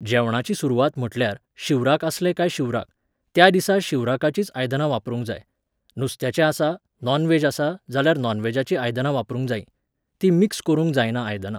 जेवणाची सुरवात म्हटल्यार, शिवराक आसलें काय शिवराक. त्या दिसा शिवराकाचींच आयदनां वापरूंक जाय. नुस्त्याचें आसा, नॉनव्हॅज आसा जाल्यार नॉनव्हॅजाची आयदनां वापरूंक जायीं. तीं मिक्स करूंक जायना आयदनां.